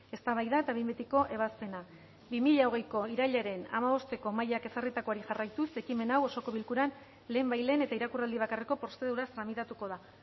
eztabaida eta behin betiko ebazpena bi mila hogeiko irailaren hamabosteko mahaiak ezarritakoari jarraituz ekimen hau osoko bilkuran lehenbailehen eta irakurraldi bakarreko prozeduraz tramitatuko da